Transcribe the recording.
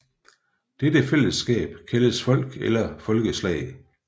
Dette fællesskab kaldes folk eller folkeslag